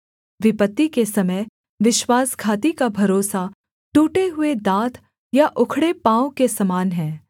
विपत्ति के समय विश्वासघाती का भरोसा टूटे हुए दाँत या उखड़े पाँव के समान है